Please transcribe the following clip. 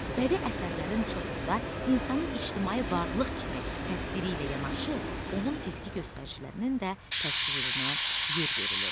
Bədii əsərlərin çoxunda insanın ictimai varlıq kimi təsviri ilə yanaşı, onun fiziki göstəricilərinin də təsvirinə yer verilir.